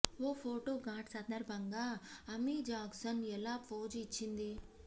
ఓ photo shoot సందర్భంగా Amy Jackson ఎలా pose ఇచ్చింది